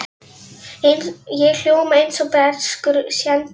Ég hljóma eins og breskur séntilmaður.